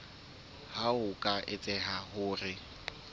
ha ho ka etseha hore